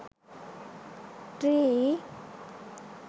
tree